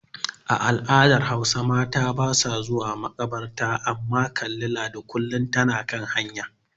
A al'adar Hausa mata basa zuwa makabarta amma kalli Ladi kullin tana kan hanya.